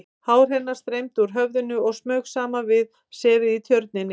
Hár hennar streymdi úr höfðinu og smaug saman við sefið í Tjörninni.